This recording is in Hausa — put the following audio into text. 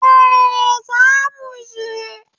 Eh, za mu je